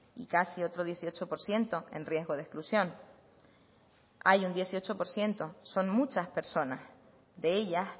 y casi otro dieciocho por ciento en riesgo de exclusión hay un dieciocho por ciento son muchas personas de ellas